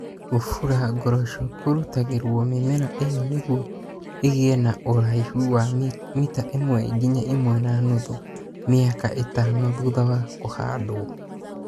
kũbura ngoroco kũrutagĩrũo mĩmera ĩyo nĩguo ĩgĩe na ũraihu wa mita ĩmwe nginya ĩmwe na nũthũ mĩaka ĩtano thutha wa kũhandwo.